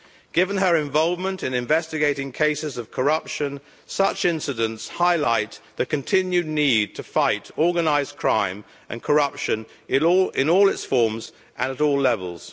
Given her involvement in investigating cases of corruption, such incidents highlight the continuing need to fight organised crime and corruption in all its forms and at all levels.